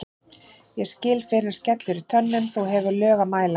ég skil fyrr en skellur í tönnum þú hefur lög að mæla